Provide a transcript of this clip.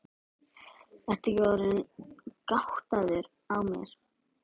Ertu ekki orðinn gáttaður á mér.